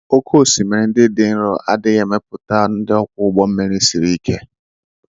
Oké osimiri ndị dị nro adịghị emepụta ndị ọkwọ ụgbọ mmiri sịrị ike.